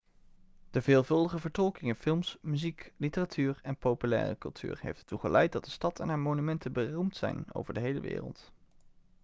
de veelvuldige vertolking in films muziek literatuur en populaire cultuur heeft ertoe geleid dat de stad en haar monumenten beroemd zijn over de hele wereld